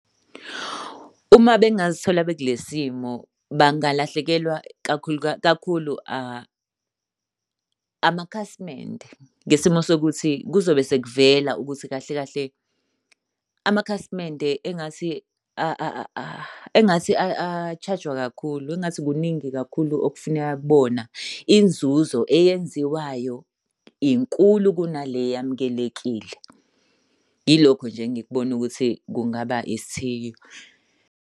Uma bengazithola bekulesi simo bangalahlekelwa kakhulu amakhasimende. Ngesimo sokuthi kuzobe sekuvela ukuthi kahle kahle amakhasimende engathi engathi a-charge-jwa kakhulu, engathi kuningi kakhulu okufuneka kubona. Inzuzo eyenziwayo, inkulu kunale eyamukelekile. Yilokho nje engikubona ukuthi kungaba isithiyo.